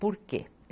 Por quê?